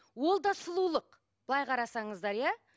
ол да сұлулық былай қарасаңыздар иә